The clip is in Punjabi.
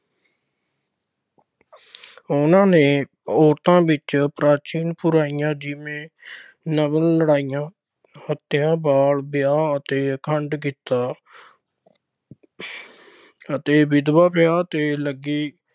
ਉਨ੍ਹਾਂ ਨੇ ਔਰਤਾਂ ਵਿੱਚ ਪ੍ਰਾਚੀਨ ਬੁਰਾਈਆਂ ਜਿਵੇਂ ਲੜਕੀਆਂ ਦੀ ਹੱਤਿਆ, ਬਾਲ ਵਿਆਹ ਅਤੇ ਅਖੰਡ ਕੀਤਾ ਅਤੇ ਵਿਧਵਾ ਵਿਆਹ ਤੇ ਲੱਗੇ